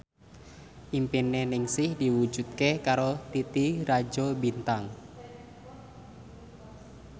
impine Ningsih diwujudke karo Titi Rajo Bintang